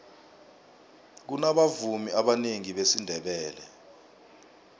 kunabavumi abanengi besindebele